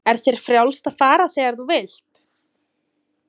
Er þér frjálst að fara þegar þú vilt?